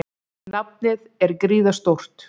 Nafnið er gríðarstórt.